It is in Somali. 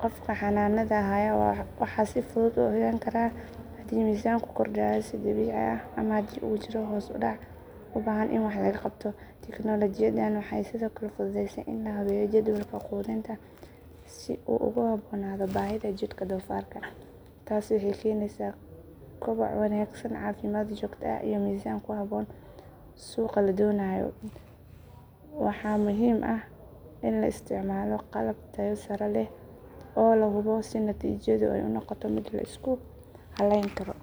qofka xanaanada haya wuxuu si fudud u ogaan karaa haddii miisaanku kordhayo si dabiici ah ama haddii uu jiro hoos u dhac u baahan in wax laga qabto. Tignoolajiyadan waxay sidoo kale fududeysay in la habeeyo jadwalka quudinta si uu ugu habboonaado baahida jidhka doofaarka. Taasi waxay keenaysaa koboc wanaagsan, caafimaad joogto ah, iyo miisaan ku habboon suuqa la doonayo. Waxaa muhiim ah in la isticmaalo qalab tayo sare leh oo la hubo si natiijadu ay u noqoto mid la isku halayn karo.